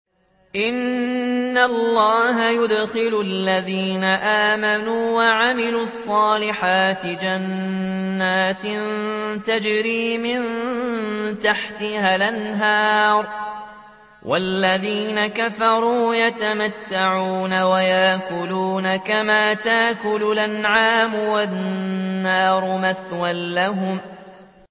إِنَّ اللَّهَ يُدْخِلُ الَّذِينَ آمَنُوا وَعَمِلُوا الصَّالِحَاتِ جَنَّاتٍ تَجْرِي مِن تَحْتِهَا الْأَنْهَارُ ۖ وَالَّذِينَ كَفَرُوا يَتَمَتَّعُونَ وَيَأْكُلُونَ كَمَا تَأْكُلُ الْأَنْعَامُ وَالنَّارُ مَثْوًى لَّهُمْ